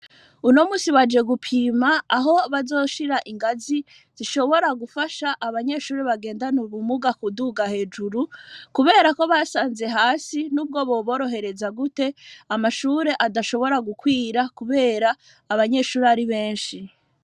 uno munsi baje gupima aho bazoshira ingazi zishobora gufasha abanyeshuri bagendana ubumuga kuduga hejuru kuberako basanze hasi nubwo boborohereza gute amashuri adashobora gukwira kubera abanyeshuri ari benshi.